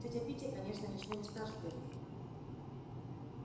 тётя питти конечно ничего не скажет эллин